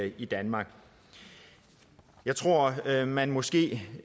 i danmark jeg tror at man måske